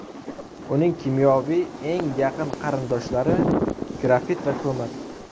Uning kimyoviy eng yaqin qarindoshlari grafit va ko‘mir.